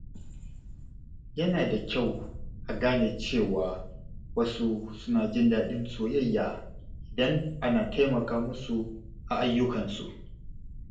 Yana da kyau a gane cewa wasu suna jin daɗin soyayya idan ana taimaka musu a ayyukansu.